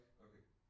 Okay